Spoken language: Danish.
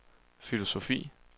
filosofi